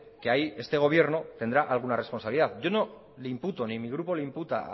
que ahí este gobierno tendrá alguna responsabilidad yo no le imputo ni mi grupo le imputa a